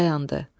Dayandı.